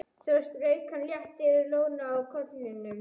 Svo strauk hann létt yfir lóna á kollinum.